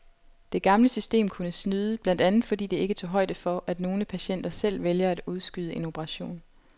Det gamle system kunne snyde, blandt andet fordi det ikke tog højde for, at nogle patienter selv vælger at udskyde en operation.